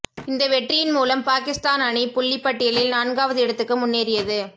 இந்த வெற்றியின் மூலம் பாகிஸ்தான் அணி புள்ளிப்பட்டியலில் நான்காவது இடத்துக்கு முன்னேறியது